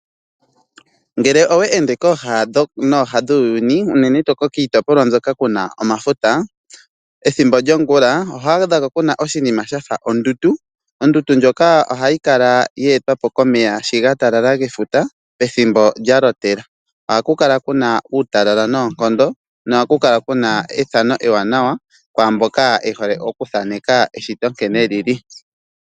Ngele owe ende kooha nooha dhuuyuni unene tuu kiitopolwa mbyoka kuna omafuta , ethimbo lyongula ohwaa dhako kuna oshinima shafa ondundu, ondundu ndjoka ohayi kala yeetwapo komeya shi gatalala gefuta ethimbo lya lotela. Oha kukula kuna uutalala noonkondo noha kukala kuna ethano ewanawa kwaamboka yehole okuthaneka eshito nkene lili.